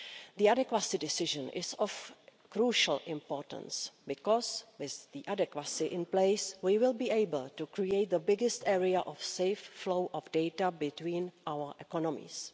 The adequacy decision is of crucial importance because, with the adequacy in place, we will be able to create the biggest area of safe flow of data between our economies.